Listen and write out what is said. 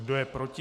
Kdo je proti?